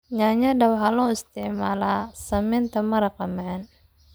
Yaanyada waxaa loo isticmaalaa sameynta maraq macaan.